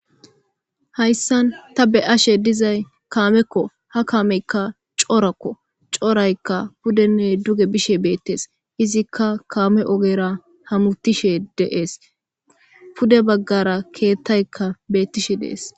Hayssan ta beyashe dizay kaamekko ha kaameykka corakko ha kaameykka pudenne duge bishe beetes izikka kaame oogera haametishe de'es puede baggara kettayikka beetishe de'es.